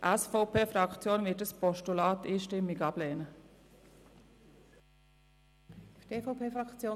Die SVPFraktion wird dieses Postulat einstimmig ablehnen.